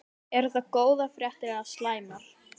Eru það góðar fréttir eða slæmar?